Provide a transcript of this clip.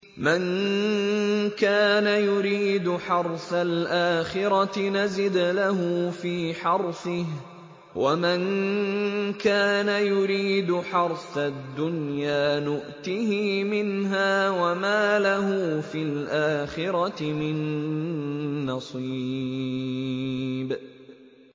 مَن كَانَ يُرِيدُ حَرْثَ الْآخِرَةِ نَزِدْ لَهُ فِي حَرْثِهِ ۖ وَمَن كَانَ يُرِيدُ حَرْثَ الدُّنْيَا نُؤْتِهِ مِنْهَا وَمَا لَهُ فِي الْآخِرَةِ مِن نَّصِيبٍ